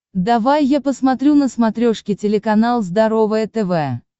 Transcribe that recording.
давай я посмотрю на смотрешке телеканал здоровое тв